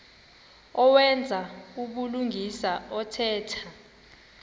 owenza ubulungisa othetha